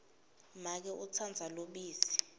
make utsandza lubisi